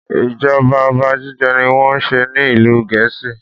Ijọba ọba jíjẹ ní wọ́n n ṣe ní ìlú Gèésì.